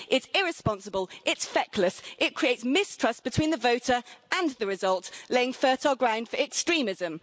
It's irresponsible, it's feckless and it creates mistrust between the voter and the result, laying fertile ground for extremism.